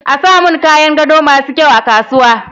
A samun kayan gado masu kyau a kasuwa.